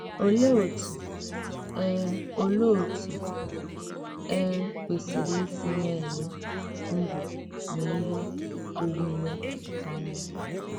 Òlee òtú e Òlee òtú e kwesìrì ísì nà-èlè ndú nà íhè ònwùnwè ànyá?